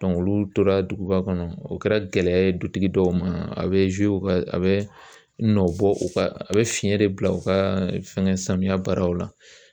olu tora duguba kɔnɔ u kɛra gɛlɛya ye dutigi dɔw ma a bɛ a bɛ nɔ bɔ u ka a bɛ fiɲɛ de bila u ka fɛngɛ samiyɛ baaraw la